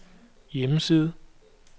hjemmeside